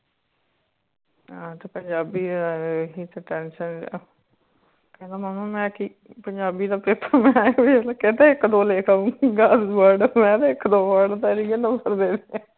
ਹਾਂ ਪੰਜਾਬੀ ਤੇ ਏਹ ਹੀ ਤਾ ਟਸਨ ਆ ਕਹਿੰਦਾ ਮੁਮਾ ਮੈਂ ਕਿ ਪੰਜਾਬੀ ਦਾ ਪੇਪਰ ਕਹਿੰਦਾ ਇਕ ਦੋ ਲਿਖ ਆਊਗਾ word ਮੈਂ ਕਿਹਾ ਇਕ ਦੋ word ਤਾ ਲਿਖ ਲਾਊਗਾ